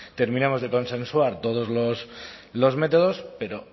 terminamos de consensuar todos los métodos pero